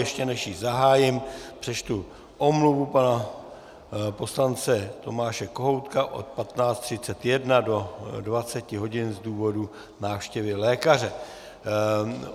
Ještě než ji zahájím, přečtu omluvu pana poslance Tomáše Kohoutka od 15.31 do 20.00 hodin z důvodu návštěvy lékaře.